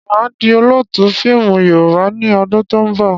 Máa di Olóótù fíìmù Yorùbá ni ọdún to ń bọ̀.